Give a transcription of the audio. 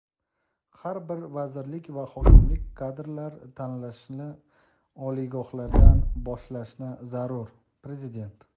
Har bir vazirlik va hokimlik kadrlar tanlashni oliygohlardan boshlashi zarur — Prezident.